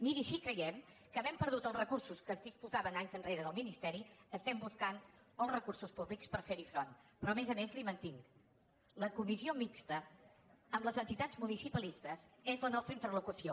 miri si hi creiem que havent perdut els recursos que es disposaven anys enrere del ministeri estem buscant els recursos públics per ferhi front però a més a més li ho mantinc la comissió mixta amb les entitats municipalistes és la nostra interlocució